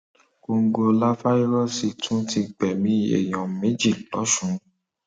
kòǹgóláfàírósì tún ti gbẹmí um èèyàn méjì lọsùn